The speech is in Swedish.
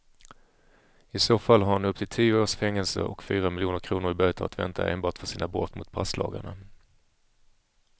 I så fall har han upp till tio års fängelse och fyra miljoner kronor i böter att vänta enbart för sina brott mot passlagarna.